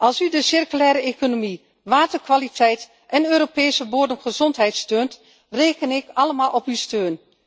Als u de circulaire economie, waterkwaliteit en Europese bodemgezondheid steunt, reken ik allemaal op uw steun.